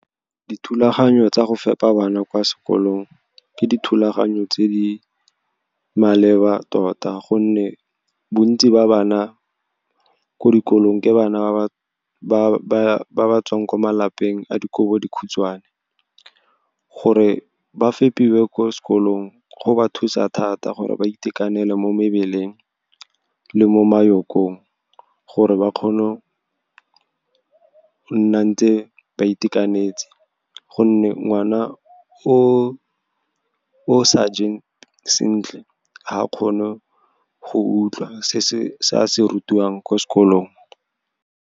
Dithulaganyo tsa go fepa bana kwa sekolong ke dithulaganyo tse di maleba tota, gonne bontsi ba bana ko dikolong ke bana ba ba tswang kwa malapeng a dikobo di khutshwane. Gore ba fepiwang ko sekolong go ba thusa thata gore ba itekanele mo mmeleng le mo , gore ba kgone go nna ntse ba itekanetse, gonne ngwana o sa jeng sentle, ga a kgone go utlwa sa se rutiwang ko sekolong.